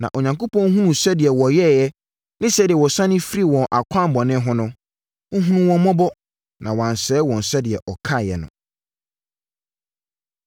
Na Onyankopɔn hunuu sɛdeɛ wɔyɛeɛ ne sɛdeɛ wɔsane firii wɔn akwammɔne ho no, ɔhunuu wɔn mmɔbɔ, na wansɛe wɔn sɛdeɛ ɔkaeɛ no.